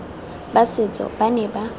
ba setso ba ne ba